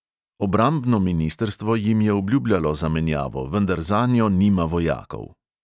Obrambno ministrstvo jim je obljubljalo zamenjavo, vendar zanjo nima vojakov.